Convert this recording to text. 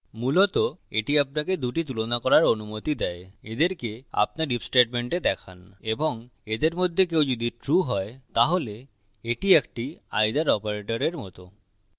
মূলত এটি আপনাকে দুটি তুলনা করার অনুমতি দেয় এদেরকে আপনার if statement দেখান এবং এদের মধ্যে কেউ যদি true হয়তাহলে এটি একটি either operator মত